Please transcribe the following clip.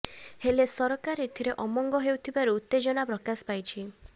ହେଲେ ସରକାର ଏଥିରେ ଅମଙ୍ଗ ହେଉଥିବାରୁ ଉତ୍ତେଜନା ପ୍ରକାଶ ପାଇଛି